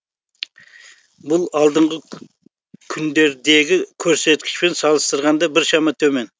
бұл алдыңғы күндердегі көрсеткішпен салыстырғанда біршама төмен